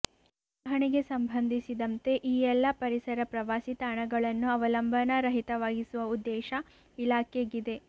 ನಿರ್ವಹಣೆಗೆ ಸಂಬಂಧಿಸಿದಂತೆ ಈ ಎಲ್ಲ ಪರಿಸರ ಪ್ರವಾಸಿ ತಾಣಗಳನ್ನು ಅವಲಂಬನಾ ರಹಿತವಾಗಿಸುವ ಉದ್ದೇಶ ಇಲಾಖೆಗಿದೆ